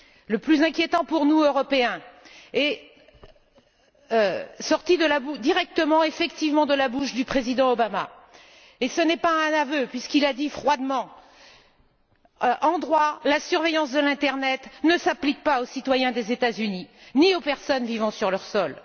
Le plus inquiétant pour nous, Européens, est sorti directement en effet de la bouche du président Obama. Et ce n'est pas un aveu puisqu'il a dit froidement qu'en droit, la surveillance de l'internet ne s'applique pas aux citoyens des États Unis, ni aux personnes vivant sur leur sol.